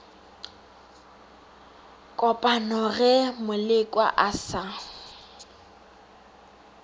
kopana ge molekwa a sa